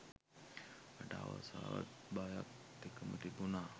මට ආසාවත් බයක් දෙකම තිබුණා.